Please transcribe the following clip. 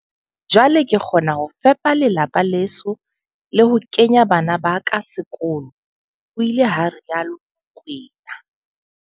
Jwale ke kgona ho fepa lelapa leso le ho kenya bana ba ka sekolo, ho ile ha rialo Mokoena.